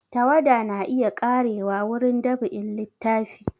Tawada na iya ƙarewa wurin dab'in littafi